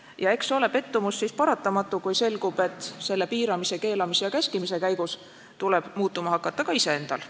Ja eks ole pettumus siis paratamatu, kui selgub, et selle piiramise, keelamise ja käskimise käigus tuleb muutuma hakata ka iseendal.